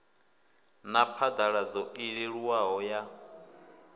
na phaḓaladzo i leluwaho ya